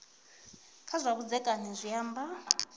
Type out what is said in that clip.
kha zwa vhudzekani zwi amba